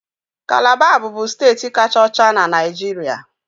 Calabar bụbu steeti kacha ọcha na Naịjirịa